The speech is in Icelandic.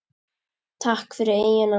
Takk fyrir eyjuna.